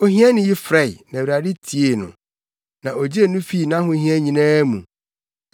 Ohiani yi frɛe, na Awurade tiee no; na ogyee no fii nʼahohia nyinaa mu.